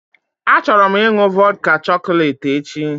Achọrọ m ịnụ vodka chọcọlate echi